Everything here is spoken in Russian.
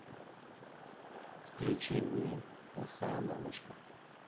включи мне плохая мамочка